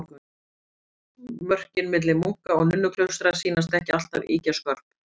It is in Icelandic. Mörkin milli munka- og nunnuklaustra sýnast ekki alltaf ýkja skörp.